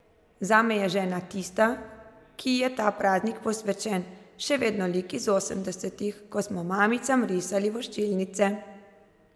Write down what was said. Zame je žena, tista, ki ji je ta praznik posvečen, še vedno lik iz osemdesetih, ko smo mamicam risali voščilnice.